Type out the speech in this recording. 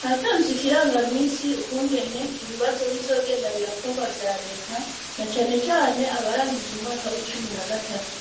Hatanzwe ikirangamisi ukungene ibibazo bizogenda birakorwa vya leta na cane cane abarangiza umwaka wa cumi na gatatu,